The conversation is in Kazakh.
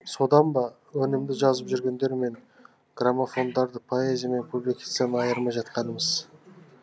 содан ба өнімді жазып жүргендер мен графомандарды поэзия мен публицистиканы айырмай жатқанымыз